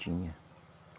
Tinha.